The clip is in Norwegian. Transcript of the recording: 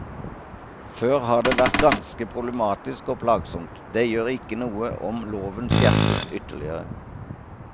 Før har det vært ganske problematisk og plagsomt, det gjør ikke noe om loven skjerpes ytterligere.